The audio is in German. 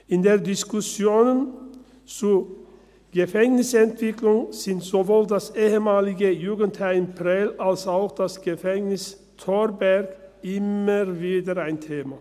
In den Diskussionen zur Gefängnisentwicklung sind sowohl das ehemalige Jugendheim Prêles als auch das Gefängnis Thorberg immer wieder ein Thema.